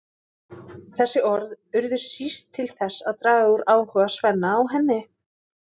Þessi orð urðu síst til þess að draga úr áhuga Svenna á henni.